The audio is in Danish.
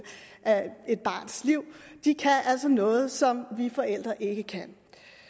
af et barns liv de kan altså noget som vi forældre ikke kan